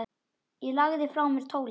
Ég lagði frá mér tólið.